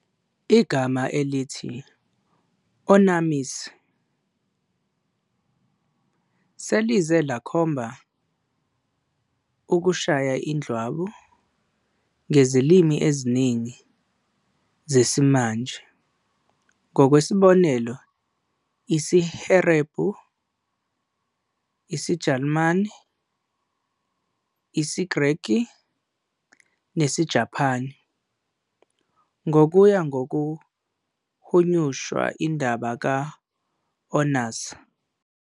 Igama elithi "onanism" "selize lakhomba" "ukushaya indlwabu" ngezilimi eziningi zesimanje - ngokwesibonelo isiHeberu isiJalimane isiGreki, nesiJapane ngokuya ngokuhunyushwa indaba ka-Onan.